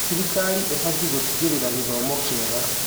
Thirikari ĩbatiĩ gũtigĩrĩra gĩthomo kĩega.